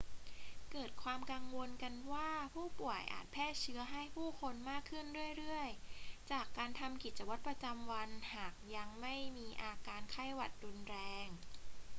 เกิดความกังวลกันว่าผู้ป่วยอาจแพร่เชื้อให้ผู้คนมากขึ้นเรื่อย ๆ จากการทำกิจวัตรประจำวันหากยังไม่มีอาการไข้หวัดรุนแรง